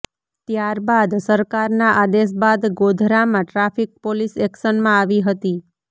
ત્યારબાદ સરકારના આદેશ બાદ ગોધરામાં ટ્રાફિક પોલીસ એક્શનમાં આવી હતી